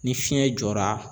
Ni fiɲɛ jɔra.